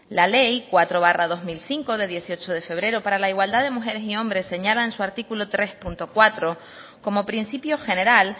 la ley cuatro barra dos mil cinco de dieciocho de febrero para la igualdad de mujeres y hombres señala en su artículo tres punto cuatro como principio general